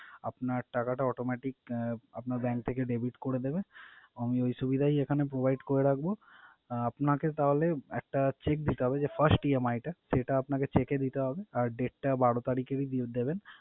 আপনার টাকাটা autometic আহ আপনার bank থেকে debit করে দেবে। আমি ওই সুবিধাই এখানে provide করে রাখবো। আর আপনাকে তাহলে একটা cheque দিতে হবে যে first EMI টা, সেটা আপনাকে cheque এ দিতে হবে আর date টা বারো তারিখ এরই দেবেন।